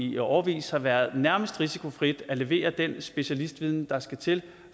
i årevis har været nærmest risikofrit at levere den specialistviden der skal til